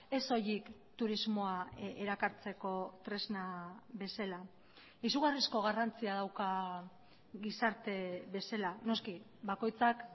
ez soilik turismoa erakartzeko tresna bezala izugarrizko garrantzia dauka gizarte bezala noski bakoitzak